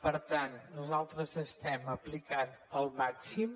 per tant nosaltres estem aplicant el màxim